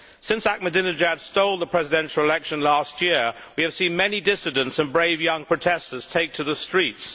Since Ahmadinejad stole the presidential election last year, we have seen many dissidents and brave young protestors take to the streets.